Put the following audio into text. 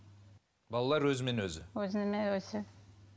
балалар өзімен өзі өзімен өзі